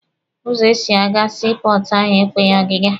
Ụzọ esi aga sii pọọtụ ahụ ekweghị ọgịga.